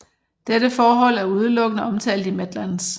Dette forhold er udelukkende omtalt i Medlands